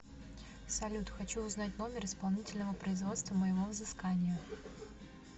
салют хочу узнать номер исполнительного производства моего взыскания